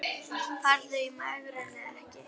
Farðu í megrun eða ekki.